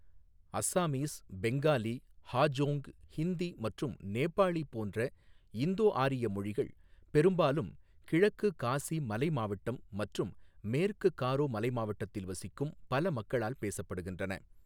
அஸ்ஸாமீஸ், பெங்காலி, ஹாஜோங், ஹிந்தி மற்றும் நேபாளி போன்ற இந்தோ ஆரிய மொழிகள் பெரும்பாலும் கிழக்கு காசி மலை மாவட்டம் மற்றும் மேற்கு காரோ மலை மாவட்டத்தில் வசிக்கும் பல மக்களால் பேசப்படுகின்றன.